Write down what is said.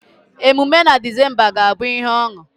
Ememe na December ga-abụ ihe ọṅụ.